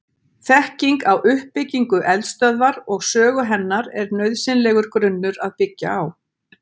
Þekking á uppbyggingu eldstöðvar og sögu hennar er nauðsynlegur grunnur að byggja á.